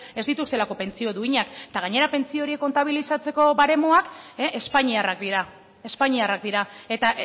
ez dituztelako pentsio duinak eta gainera pentsio horiek kontabilizatzeko baremoak espainiarrak dira espainiarrak dira eta